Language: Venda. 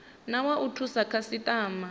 na wa u thusa khasitama